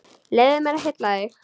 Leyfðu mér að hylla þig.